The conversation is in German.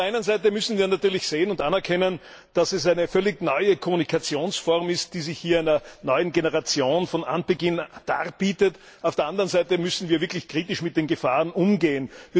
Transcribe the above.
Auf der einen Seite müssen wir natürlich sehen und anerkennen, dass es eine völlig neue Kommunikationsform ist, die sich hier einer neuen Generation von Anbeginn darbietet, auf der anderen Seite müssen wir wirklich kritisch mit den Gefahren umgehen.